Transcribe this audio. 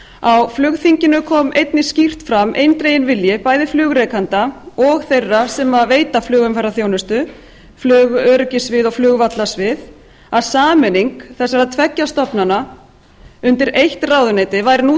á flugþinginu kom einnig skýrt fram eindreginn vilji bæði flugrekenda og þeirra sem veita flugumferðarþjónustu flugöryggissvið og flugvallasvið að sameining þessara tveggja stofnana undir eitt ráðuneyti væri nú